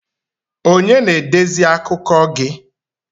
Onye na-edezi akụkọ gi?